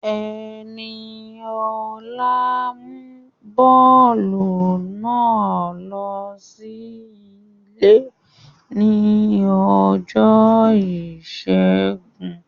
Ẹniọlá mú bọ́ọ̀lù náà ló sí ilé ní ọjọ́ ìṣẹ́gun